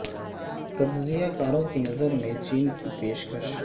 تجزیہ کاروں کی نظر میں چین کی پیش کش